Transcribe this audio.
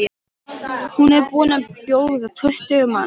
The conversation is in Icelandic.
Hún er búin að bjóða tuttugu manns.